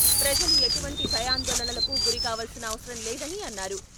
ప్రజలు ఎటువంటి భయాందోళనలకు గురికావాల్సిన అవసరం లేదని అన్నారు.